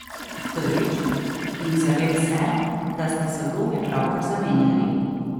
Prvič, in zavem se, da sta se vlogi pravkar zamenjali.